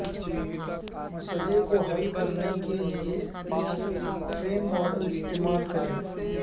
مسئلہ کو حل کرنے کے لئے فریم ماڈل استعمال کریں